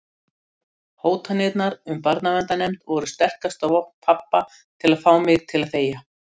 Hótanirnar um barnaverndarnefnd voru sterkasta vopn pabba til að fá mig til að þegja.